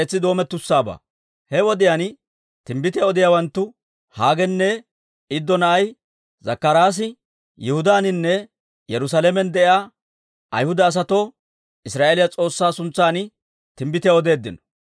He wodiyaan timbbitiyaa odiyaawanttu Haagenne Iddo na'ay Zakkaraasi Yihudaaninne Yerusaalamen de'iyaa Ayhuda asatoo Israa'eeliyaa S'oossaa suntsan timbbitiyaa odeeddino.